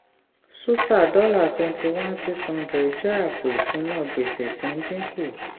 suta dollar twenty one six hundred jẹ́ àpò ìṣúná gbèsè tí ń dínkù.